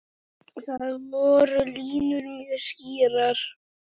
Þar voru línur mjög skýrar.